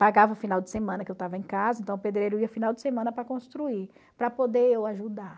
Pagava o final de semana que eu estava em casa, então o pedreiro ia final de semana para construir, para poder eu ajudar.